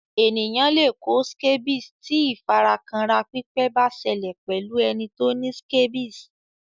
Ènìyàn le kó scabies ti ìfara kanra pípẹ́ ba sẹlẹ̀ pẹ́lu ẹni ti o ni scabies